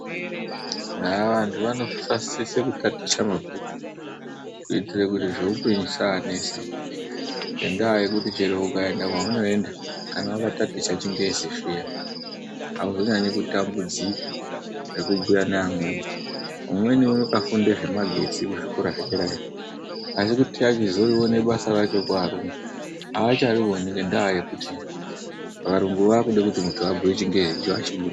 Vantu vanosise kutaticha mabhuku kuitire kuti zvehupenyu zvisavanesa. Ngendaa yekuti chero ukaenda kwaunoenda chero wakataticha chingezi zviya auzonyanyi kutambudzika, nekubhuya neamweni. Umweni akafunda zvemagetsi kuzvikora zvederayo asi kuti achizorione basa racho kuvarungu acharioni ngendaa yekuti varungu vaakude kuti muntu abhuye chingezi, icho hachibudi.